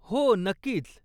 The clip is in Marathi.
हो, नक्कीच.